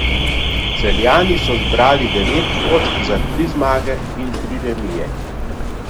Celjani so zbrali devet točk za tri zmage in tri remije.